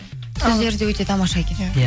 сөздері де өте тамаша екен иә иә